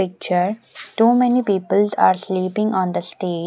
Picture too many people are sleeping on the state --